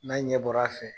N'a ɲɛ bɔra a fɛ